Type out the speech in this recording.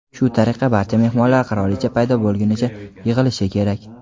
Shu tariqa barcha mehmonlar qirolicha paydo bo‘lgunicha yig‘ilishi kerak.